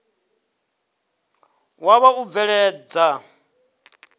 wa vha wa u bveledza